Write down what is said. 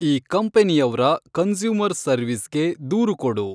ಈ ಕಂಪನಿಯವ್ರ ಕನ್ಸ್ಯೂಮರ್‌ ಸರ್ವೀಸ್‌ಗೆ ದೂರು ಕೊಡು